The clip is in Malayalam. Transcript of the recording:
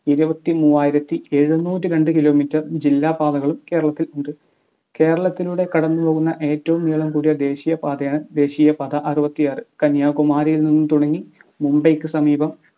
ഇരുപതിമൂആയിരത്തി എഴുന്നൂറ്റി രണ്ട് kilometer ജില്ലാപാതകളും കേരളത്തിലുണ്ട് കേരളത്തിലൂടെ കടന്നുപോകുന്ന ഏറ്റവും നീളം കൂടിയ ദേശീയ പാതയാണ് ദേശീയ പാത അറുപത്തി ആർ കന്യാകുമാരിയിൽ നിന്നു തുടങ്ങി മുംബൈക്ക് സമീപം